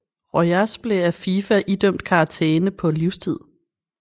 Rojas blev af FIFA idømt karantæne på livstid